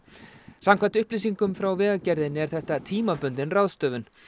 samkvæmt upplýsingum frá Vegagerðinni er þetta tímabundin ráðstöfun